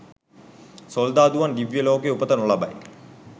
සොල්දාදුවන් දිව්‍යලෝකයේ උපත නොලබයි.